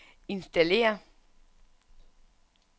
installér